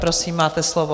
Prosím, máte slovo.